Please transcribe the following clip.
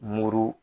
Muru